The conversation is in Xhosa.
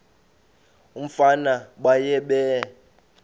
umfana baye bee